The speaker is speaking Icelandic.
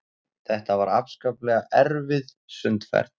Þetta var afskaplega erfið sundferð.